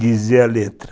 Dizer a letra.